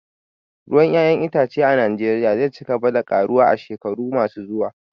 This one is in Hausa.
Ruwan 'ya'yan itace a Najeriya zai ci gaba da karuwa a shekaru masu zuwa